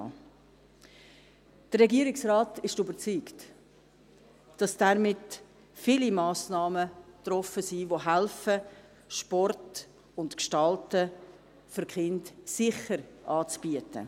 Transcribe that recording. Der Regierungsrat ist überzeugt, dass damit viele Massnahmen getroffen worden sind, die helfen, Sport und Gestalten für die Kinder sicher anzubieten.